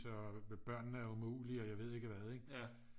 Så børnene er umulige og jeg ved ikke hvad ikke